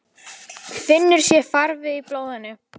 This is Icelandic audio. Finnur sér farveg í blóðinu.